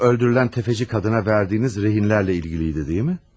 Şu öldürülən təfəçi qadına verdiyiniz rehinlər ilə bağlı idi, deyilmi?